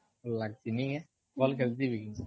ଲାଗ୍ସି ନି କେଁ? ଭଲ ଖେଲସି ବି